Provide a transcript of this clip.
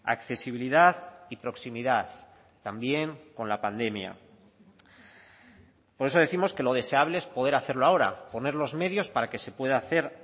accesibilidad y proximidad también con la pandemia por eso décimos que lo deseable es poder hacerlo ahora poner los medios para que se puede hacer